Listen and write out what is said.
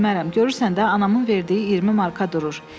Görürsən də, anamın verdiyi 20 marka durur.